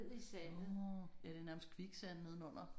Nåh ja det er nærmest kviksand nedenunder